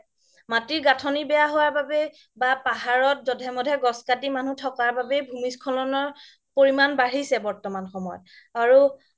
মাতিৰ গাথনি বেয়া হুৱাৰ বাবে বা পাহাৰত জধে মধে গ্ছ কাতি থকা বাবে ভূমিস্খলনৰ পৰিমান বাঢ়িছে বৰ্তমান সময় আৰু